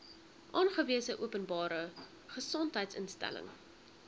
aangewese openbare gesondheidsinstelling